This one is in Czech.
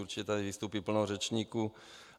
Určitě tady vystoupí plno řečníků.